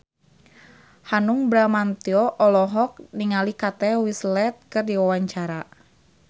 Hanung Bramantyo olohok ningali Kate Winslet keur diwawancara